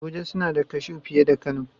Abuja suna da kashu fiye da kano